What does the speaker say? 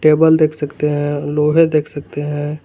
Table देख सकते हैं लोहे देख सकते हैं।